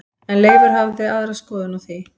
En Leifur hafði aðra skoðun á því.